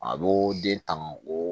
A b'o den tan o